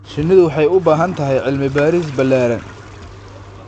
Shinnidu waxay u baahan tahay cilmi baaris ballaaran.